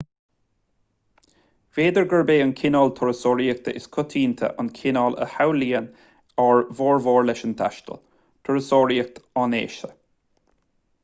b'fhéidir gurb é an cineál turasóireachta is coitianta an cineál a shamhlaíonn ár bhformhór leis an taisteal turasóireacht áineasa